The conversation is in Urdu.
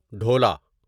ڈھولا ঢোল